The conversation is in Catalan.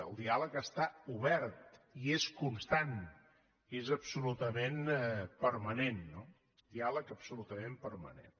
el diàleg està obert i és constant és absolutament permanent no un diàleg absolutament permanent